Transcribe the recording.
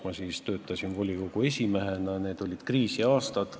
Ma töötasin siis volikogu esimehena, need olid kriisiaastad.